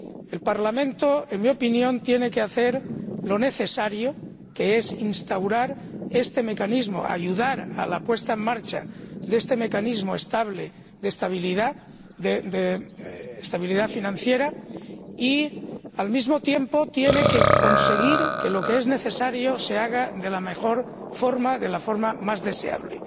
El Parlamento, en mi opinión, tiene que hacer lo necesario, que es instaurar este mecanismo, ayudar a la puesta en marcha de este mecanismo de estabilidad financiera y, al mismo tiempo, tiene que conseguir que lo que es necesario se haga de la mejor forma, de la forma más deseable.